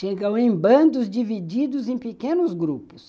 Chegam em bandos divididos em pequenos grupos,